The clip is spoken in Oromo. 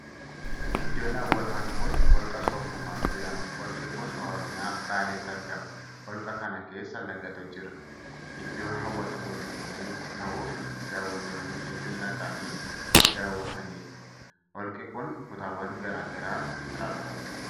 Iddoon hawwataan kun holqa Soof Uumar jedhama. Holqi kun Oromiyaa, Baaletti argama. Holqa kana keessa lagatu jira. Iddoo hawwata tuurizimiif ta'uufi dawwattoonni hedduun dhaqanii daawwatanidha. Holqi kun kutaawwan garaa garaa qaba.